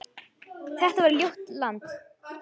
Þetta var ljótt land.